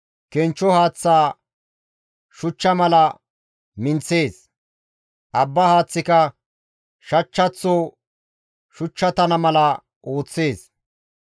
Kenchcho haaththa shuchcha mala minththees; abba haaththika shachchaththo shuchchatana mala ooththees.